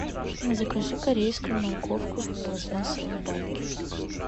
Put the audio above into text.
закажи корейскую морковку в пластмассовой банке